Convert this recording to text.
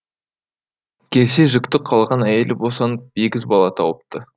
келсе жүкті қалған әйелі босанып егіз бала тауыпты